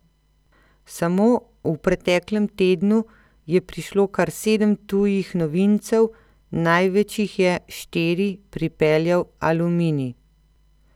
Samo v preteklem tednu je prišlo kar sedem tujih novincev, največ jih je, štiri, pripeljal Aluminij.